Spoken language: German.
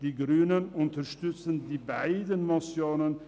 Die grüne Fraktion unterstützt beide Motionen.